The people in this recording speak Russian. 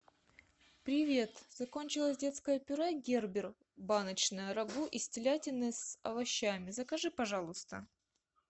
привет закончилось детское пюре гербер баночное рагу из телятины с овощами закажи пожалуйста